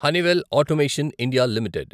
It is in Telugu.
Honeywell automation India limited